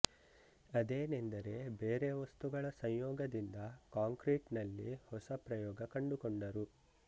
ಅದೇನೆಂದರೆ ಬೇರೆ ವಸ್ತುಗಳ ಸಂಯೋಗದಿಂದ ಕಾಂಕ್ರಿಟ್ ನಲ್ಲಿ ಹೊಸ ಪ್ರಯೋಗ ಕಂಡುಕೊಂಡರು